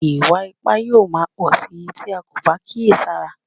Ìwà ipá yóò máa pọ̀ síi tí a kò bá kíyè sára